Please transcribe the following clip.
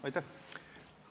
Aitäh!